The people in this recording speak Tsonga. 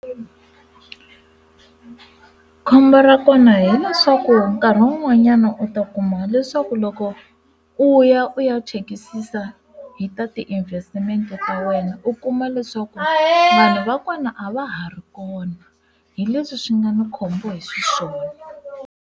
Khombo ra kona hileswaku nkarhi wun'wanyana u ta kuma leswaku loko u ya u ya chekisisa hi ta ti investimente ta wena u kuma leswaku vakona a va ha ri kona hi leswi swi nga ni khombo hiswona.